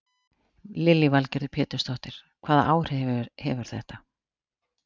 Lillý Valgerður Pétursdóttir: Hvaða áhrif hefur þetta?